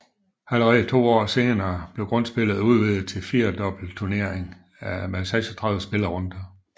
Allerede to år senere blev grundspillet udvidet til en firedobbeltturnering med 36 spillerunder